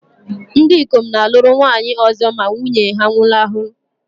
Ndị ikom na-alụrụ nwaanyị ọzọ ma nwunye ha nwụnahụrụ.